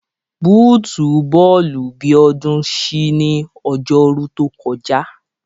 Bóòtù bọ́ọ̀lù Bíọ́dún ṣí ní Ọjọ́rú tó kọjá